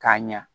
K'a ɲa